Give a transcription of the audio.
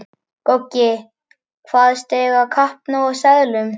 Goggi kvaðst eiga kappnóg af seðlum.